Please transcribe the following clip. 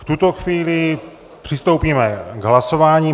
V tuto chvíli přistoupíme k hlasování.